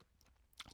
DR K